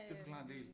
Det forklarer en del